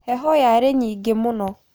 Heho yarĩ nyingĩ mũno.